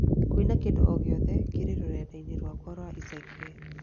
Kũina kĩndũ o gĩothe kĩrĩ rũrenda-inĩ rwakwa rwa ica ikuhĩ